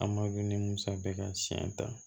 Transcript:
A ma dun ni musa bɛ ka siɲɛ ta